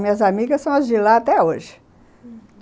Minhas amigas são as de lá até hoje, uhum.